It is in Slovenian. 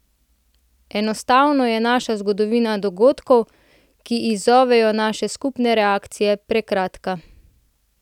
Enostavno je naša zgodovina dogodkov, ki izzovejo naše skupne reakcije, prekratka.